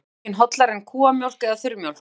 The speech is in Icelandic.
Er móðurmjólkin hollari en kúamjólk eða þurrmjólk?